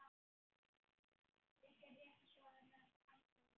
Mikið rétt svarar Arnar.